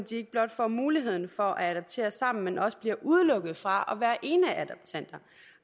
ikke blot får muligheden for at adoptere sammen men også bliver udelukket fra